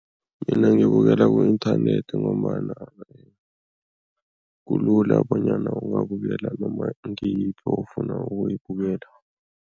Mina ngibukela ku-inthanethi ngombana kulula bonyana ungabukela noma ngiyiphi ofuna ukuyibukela.